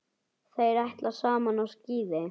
Þeir ætla saman á skíði.